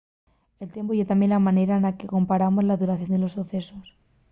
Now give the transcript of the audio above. el tiempu ye tamién la manera na que comparamos la duración de los socesos